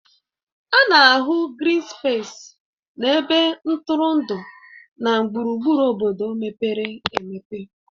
A na-ahụ grịn spesis na ebe ntụrụndụ na gburugburu obodo mepere emepe